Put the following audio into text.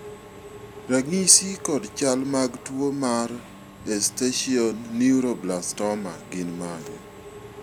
ranyisi kod chal mag tuo mar esthesioneuroblastoma gin mage?